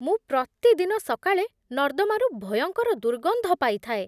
ମୁଁ ପ୍ରତିଦିନ ସକାଳେ ନର୍ଦ୍ଦମାରୁ ଭୟଙ୍କର ଦୁର୍ଗନ୍ଧ ପାଇଥାଏ